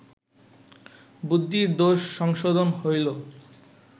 বুদ্ধির দোষ সংশোধন হইল